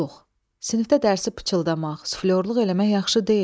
Yox, sinifdə dərsi pıçıldamaq, suflörlük eləmək yaxşı deyil.